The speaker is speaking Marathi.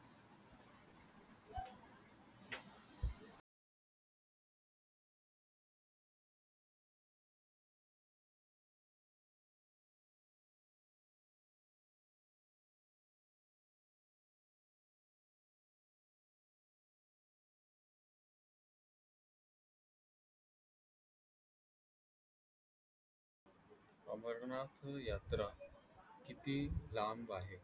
अमरनाथ यात्रा किती लांब आहे?